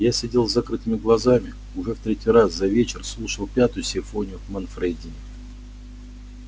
я сидел с закрытыми глазами уже в третий раз за вечер слушал пятую симфонию манфредини